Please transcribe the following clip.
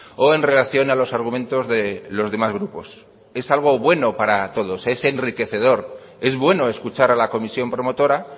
o en relación a los argumentos de los demás grupos es algo bueno para todos es enriquecedor es bueno escuchar a la comisión promotora